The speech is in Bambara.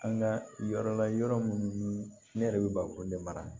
An ka yɔrɔ la yɔrɔ minnu ni ne yɛrɛ bɛ barikon de mara